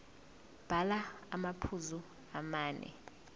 bhala amaphuzu amane